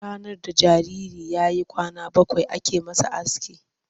Ranar da jariri ya yi kwana bakwai ake masa aski.